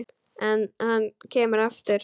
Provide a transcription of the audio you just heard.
En hann kemur aftur.